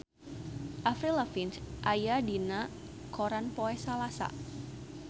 Avril Lavigne aya dina koran poe Salasa